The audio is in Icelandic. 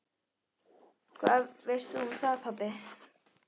Hvað veist þú um það, pabbi?